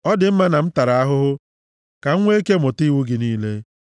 Ọ dị mma na m tara ahụhụ ka m nwee ike mụta iwu gị niile.